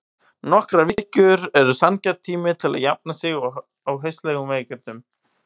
Nokkrar vikur eru sanngjarn tími til að jafna sig á hastarlegum veikindum.